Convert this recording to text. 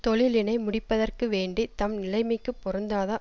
தொழிலினை முடிப்பதற்கு வேண்டி தம் நிலைமைக்குப் பொருந்தாத